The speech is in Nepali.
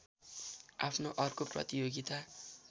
आफ्नो अर्को प्रतियोगिता